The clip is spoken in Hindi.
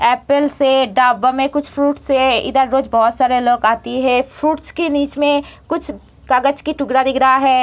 एप्पल से ढाबे में कुछ फ्रूट्स से इधर रोज बोहोत सारे लोग आती है फ्रूट्स के बीच में कुछ कागज की टुकड़ा दिख रहा है।